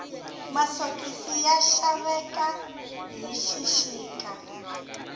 masokisi ya xaveka hi xixika